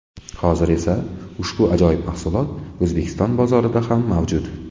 Hozir esa ushbu ajoyib mahsulot O‘zbekiston bozorida ham mavjud.